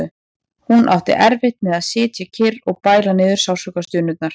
Hún átti erfitt með að sitja kyrr og bæla niður sársaukastunurnar.